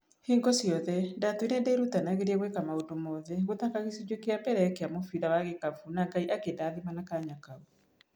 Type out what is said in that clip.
Hingo ciothe ndatũĩre ndĩrutanĩirie gũĩka maũndũ mothe gũthaka gĩcũnji kĩa mbere kĩa mũbira wa gĩkabũ na Ngai akĩndathima na kanya kau.